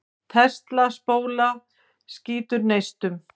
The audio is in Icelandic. Tesla-spóla skýtur neistum.